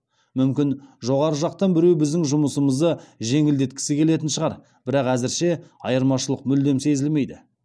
мүмкін жоғары жақтан біреу біздің жұмысымызды жеңілдеткісі келетін шығар бірақ әзірше айырмашылық мүлдем сезілмейді